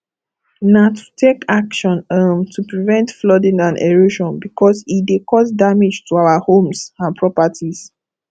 na to take action um to prevent flooding and erosion because e dey cause damage to our homes and properties